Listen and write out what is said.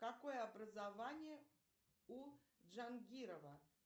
какое образование у джангирова